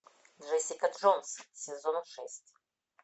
джессика джонс сезон шесть